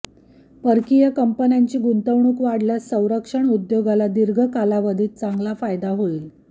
परकीय कंपन्यांनी गुंतवणूक वाढल्यास संरक्षण उद्योगाला दीर्घ कालावधीत चांगला फायदा होईल